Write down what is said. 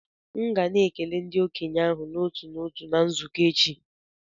M ga na-ekele ndị okenye ahụ n'otu n'otu na nzukọ echi